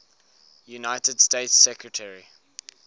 united states secretary